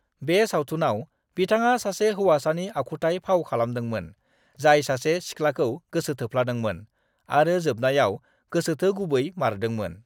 बे सावथुनाव बिथाङा सासे हौवासानि आखुथाय फाव खालामदोंमोन जाय सासे सिख्लाखौ गोसोथोफ्लादोंमोन, आरो जोबनायाव गोसोथोगुबैमारदोंमोन।